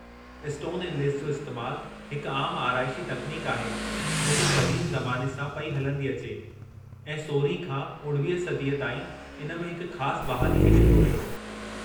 Stone inlays जो इस्तेमालु हिकु आमु आराइशी तकनीक आहे जेको क़दीम ज़माने सां पेई हलंदी अचे, ऐं 16हीं खां 19 सदीअ ताईं इन में हिकु ख़ासि बहाली खे ॾिठो वियो।